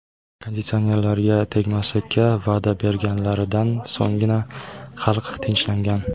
Konditsionerlarga tegmaslikka va’da berganlaridan so‘nggina xalq tinchlangan.